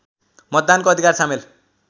मतदानको अधिकार सामेल